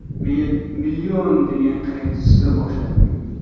Men ‘Million’ degan qayiqda suza boshladim.